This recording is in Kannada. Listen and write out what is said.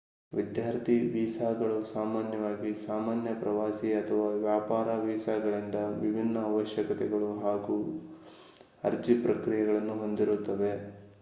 ವಿದ್ಯಾರ್ಥಿ ವೀಸಾಗಳು ಸಾಮಾನ್ಯವಾಗಿ ಸಾಮಾನ್ಯ ಪ್ರವಾಸಿ ಅಥವಾ ವ್ಯಾಪಾರ ವೀಸಾಗಳಿಂದ ವಿಭಿನ್ನ ಅವಶ್ಯಕತೆಗಳು ಮತ್ತು ಅರ್ಜಿ ಪ್ರಕ್ರಿಯೆಗಳನ್ನು ಹೊಂದಿರುತ್ತವೆ